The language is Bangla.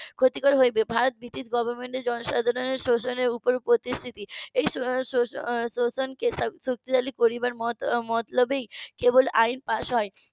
ক্ষতিকর হবে ভারত british government এর জনসাধারণের শোষণের উপর প্রতিশ্রুতি এই শোষণ কে শক্তিশালী করবার মতলবেই কেবল আইন pass হয়